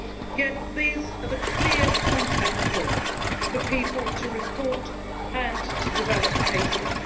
Yet these are the clear contact points for people to report and to develop cases.